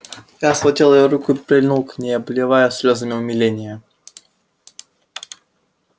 я схватил её руку и прильнул к ней обливая слезами умиления